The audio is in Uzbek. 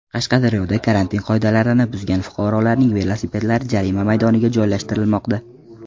Qashqadaryoda karantin qoidalarini buzgan fuqarolarning velosipedlari jarima maydoniga joylashtirilmoqda.